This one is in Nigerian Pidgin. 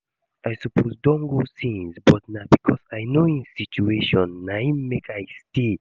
I suppose don go since but na because I know im situation na im make I stay